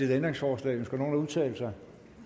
ændringsforslag ønsker nogen at udtale sig